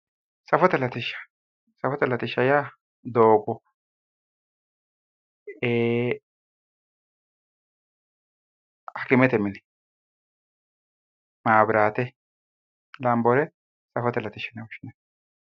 safote latishsha safote latishsha yaa doogo ee hakimete mine maabraate lambore safote latishsha yine woshshinanni.